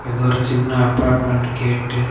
ஏதோ ஒரு சின்ன அப்பார்ட்மெண்ட் கேட்டு .